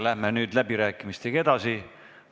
Läheme nüüd läbirääkimistega edasi.